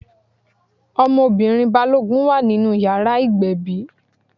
Ọmọbìnrin Balógun wà nínú ìyàrá ìgbẹ̀bí.